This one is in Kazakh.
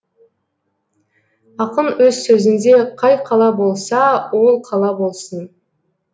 ақын өз сөзінде қай қала болса ол қала болсын